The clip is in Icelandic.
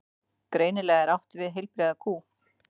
Greinilega er átt við heilbrigða kú.